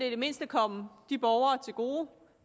i det mindste komme de borgere til gode